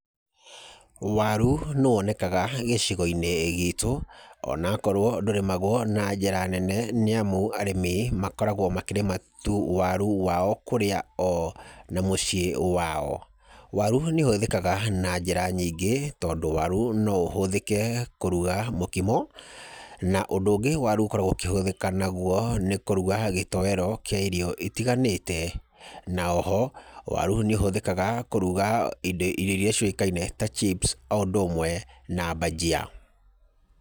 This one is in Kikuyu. Waru nĩwonekaga gĩcigo-inĩ gitũ onakorwo ndũrĩmagwo na njĩra nene nĩamu arĩmi makoragwo makĩrĩma waru wao kũrĩa oo na mũciĩ wao. Waru nĩ ũhũthĩkaga na njĩra nyingĩ tondũ waru no ũhũthĩke kũruga mũkimo, na ũndũ ũngĩ waru ũkoragwo ũkĩhũthĩka naguo nĩ kũruga gĩtowero kĩa irio itiganĩte, na oho waru ni ũhũthĩkaga kũruga indo irio iria ciũĩkaine ta chips o ũndũ ũmwe na mbanjia.